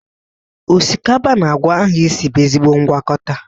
Osikapa na akwa ahụ isi bụ ezigbo ngwakọta.